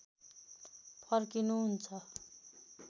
फर्किनु हुन्छ